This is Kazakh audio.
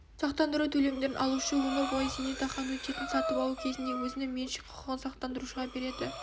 сақтандыру төлемдерін алушы өмір бойғы зейнетақы аннуитетін сатып алу кезінде өзінің меншік құқығын сақтандырушыға береді